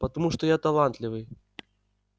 потому что я талантливый